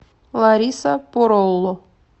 лариса поролло